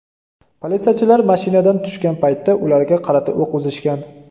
Politsiyachilar mashinadan tushgan paytda ularga qarata o‘q uzishgan.